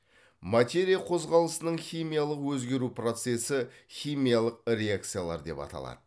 материя қозғалысының химиялық өзгеру процесі химиялық реакциялар деп аталады